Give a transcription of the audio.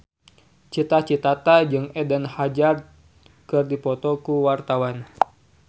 Cita Citata jeung Eden Hazard keur dipoto ku wartawan